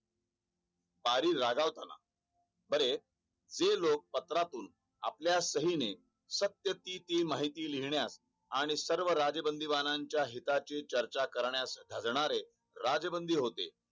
बारी रागवतना बरे जे लोक पत्रातून आपल्या सही ने शक्य तिती माहिती लिहण्यास आणि सर्व राजबंदीबाणनाच्या हिताचे चर्चा करण्यास झगणारे राजबंदी होते